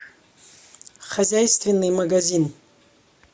хозяйственный магазин